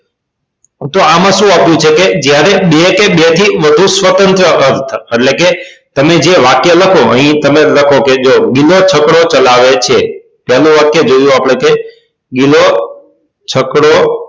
તો આમાં સુ આપ્યું છે કે જ્યારે બે કે બેથી વધુ સ્વતંત્ર ક્રમ એટલે કે તમે જે વાક્ય લખો અહી તમે લખો કે જો ગિલો છકડો ચલાવે છે પહેલું વાક્ય જોયું આપડે કે ગિલો છકડો